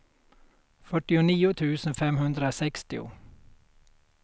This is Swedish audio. fyrtionio tusen femhundrasextio